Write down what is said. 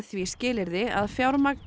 því skilyrði að fjármagn